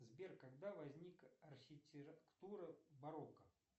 сбер когда возник архитектура барокко